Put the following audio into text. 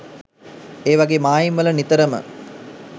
ඒවගේ මායිම් වල නිතරම